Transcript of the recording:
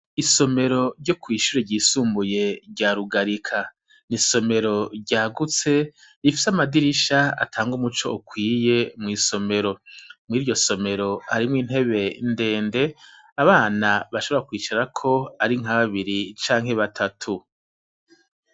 Isomero ryo kw'ishure ryisumbuye rya Rugarika, isomero ryagutse rifise amadirisha atanga umuco ukwiye mw'isomero, mwiryo somero hariho intebe ndende abana bashobora kwicarako ari nka babiri canke batatu.